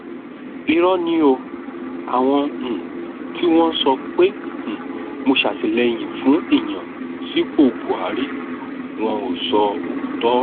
irọ ni o àwọn um tí wọn ń sọ pé um mo sàtìlẹyìn fún ìyànsípò buhari wọn ò sọ òótọ